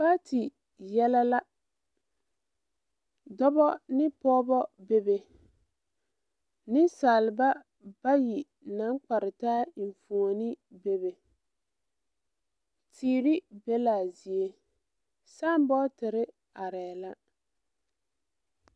Paati yɛlɛ la dɔbɔ ne pɔɔbɔ bebe neŋsalba bayi naŋ kpare taa enfuone bebe teere be laa zie saanbɔɔtire arɛɛ la.